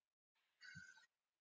Spurningunni Af hverju er myrkur?